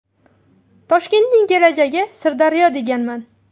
Toshkentning kelajagi Sirdaryo deganman.